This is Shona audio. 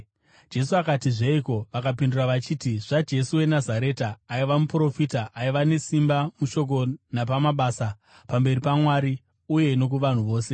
Jesu akati, “Zveiko?” Vakapindura vachiti, “ZvaJesu weNazareta. Aiva muprofita, aiva nesimba mushoko napamabasa pamberi paMwari uye nokuvanhu vose.